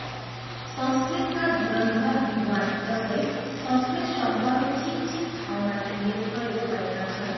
संस्कृतका धुरन्धर विद्वान् जस्तै संस्कृत शब्दहरू ठिकठिक ठाउँमा तिनले प्रयोग गरेका छन्।